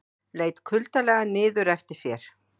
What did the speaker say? Leit kuldalega niður eftir sér.